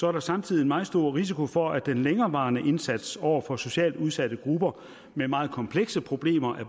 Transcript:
er der samtidig en meget stor risiko for at den længerevarende indsats over for socialt udsatte grupper med meget komplekse problemer